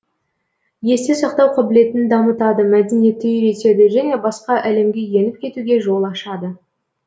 есте сақтау қабілетін дамытады мәдениетті үйретеді және басқа әлемге еніп кетуге жол ашады